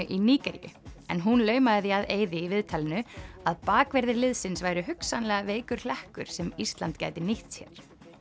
í Nígeríu en hún laumaði því að Eiði í viðtalinu að bakverðir liðsins væru hugsanlega veikur hlekkur sem Ísland gæti nýtt sér